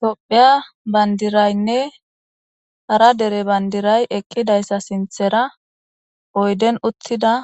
Tophiya bandiraynne ara dere bandiray eqqidayssa sinthera oyden uttida